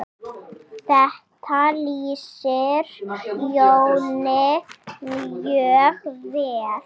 Þetta lýsir Jóni mjög vel.